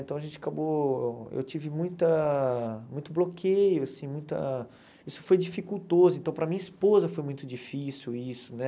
Então a gente acabou, eu tive muita muito bloqueio, assim, muita... Isso foi dificultoso, então para minha esposa foi muito difícil isso, né?